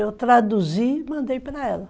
Eu traduzi e mandei para ela.